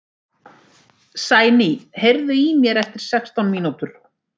Sæný, heyrðu í mér eftir sextán mínútur.